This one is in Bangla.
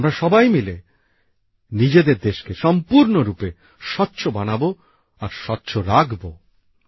আমরা সবাই মিলে নিজেদের দেশকে সম্পূর্ণরূপে স্বচ্ছ বানাবো আর স্বচ্ছ রাখবো